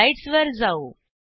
स्लाईडसवर जाऊ